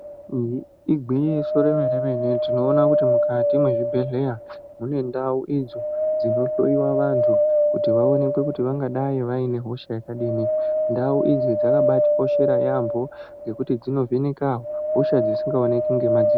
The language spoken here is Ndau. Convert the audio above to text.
Igwinyiso remene-mene, tinoona kuti mukati mezvibhedhlera munendau idzo dzinohloyiwa vantu kuti vaonekwe kuti vangadai vaine hosha yakadini. Ndau idzi dzakabatikoshera yaamho ngekuti dzinovheneka hosha dzisingaonekwi ngemadziso.